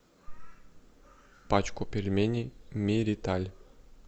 пачку пельменей мериталь